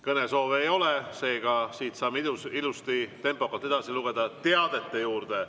Kõnesoove ei ole, seega saame ilusti tempokalt edasi teadete juurde.